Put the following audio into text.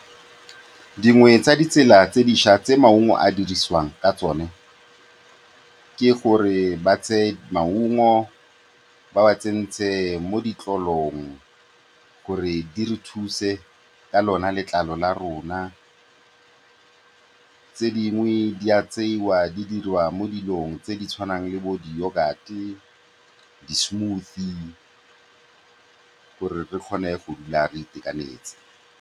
Dingwe tsa ditsela tse dišwa tse maungo a dirisiwang ka tsone ke gore ba tseye maungo ba a tsenye mo ditlolong gore di re thuse ka lona letlalo la rona. Tse dingwe di a tsewa di dirwa mo dilong tse di tshwanang le bo di-yoghurt, di-smoothie, gore re kgone go dula re itekanetse.